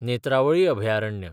नेत्रावळी अभयारण्य